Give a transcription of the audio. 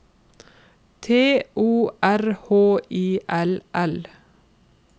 T O R H I L L